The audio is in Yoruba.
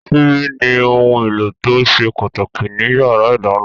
Ṣíbí ni ohun èlò tó ṣe pàtàkì ní yàrá ìdáná